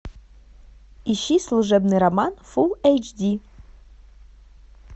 ищи служебный роман фул эйч ди